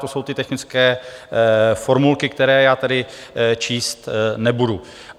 To jsou ty technické formulky, které já tedy číst nebudu.